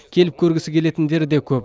келіп көргісі келетіндері де көп